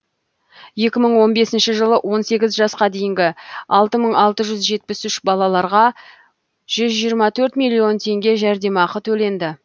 екі мың он бесінші жылы он сегіз жасқа дейінгі алты мың алты жүз жетпіс үш балаларға жүз жиырма төрт миллион теңге жәрдемақы төленді